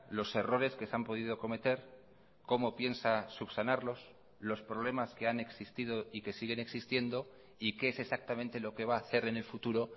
los errores que se han podido cometer cómo piensa subsanarlos los problemas que han existido y que siguen existiendo y qué es exactamente lo que va a hacer en el futuro